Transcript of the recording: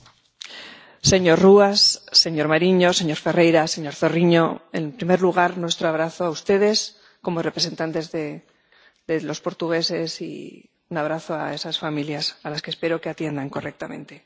Señora presidenta, señor Ruas, señor Marinho, señor Ferreira, señor Zorrinho, en primer lugar, nuestro abrazo a ustedes como representantes de los portugueses y un abrazo a esas familias a las que espero que atiendan correctamente.